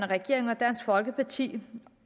regering og dansk folkeparti